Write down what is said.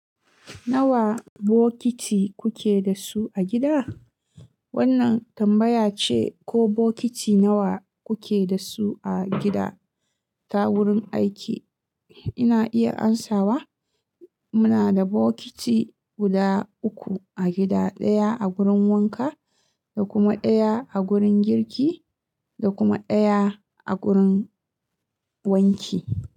Nawa bokiti kuke da su a gida? Wannan tambaya ce ko bokiti nawa kuke da su a gida ta wurin aiki. Ina iya amsawa. Muna da bokiti guda uku a gida, ɗaya a wurin wanka da kuma ɗaya a wurin girki da kuma ɗaya a wurin wanki.